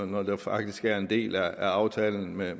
når det faktisk er en del af aftalen med